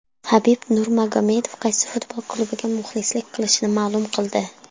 Habib Nurmagomedov qaysi futbol klubiga muxlislik qilishini ma’lum qildi.